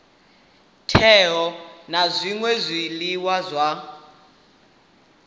teaho na zwṅwe zwiḽiwa u